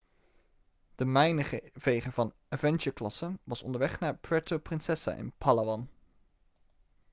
de mijnenveger van avengerklasse was onderweg naar puerto princesa in palawan